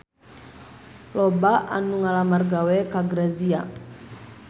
Loba anu ngalamar gawe ka Grazia